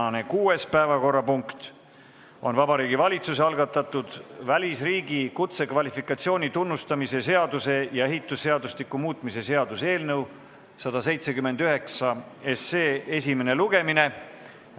Tänane 6. päevakorrapunkt on Vabariigi Valitsuse algatatud välisriigi kutsekvalifikatsiooni tunnustamise seaduse ja ehitusseadustiku muutmise seaduse eelnõu 179 esimene lugemine.